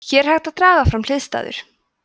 hér er hægt að draga fram hliðstæður